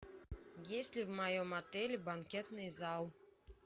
есть ли в моем отеле банкетный зал